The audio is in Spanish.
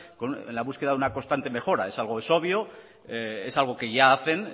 en la búsqueda de una constante mejora es algo obvio es algo que ya hacen